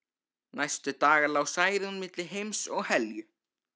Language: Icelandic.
Næstu daga lá Særún milli heims og helju.